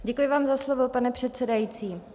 Děkuji vám za slovo, pane předsedající.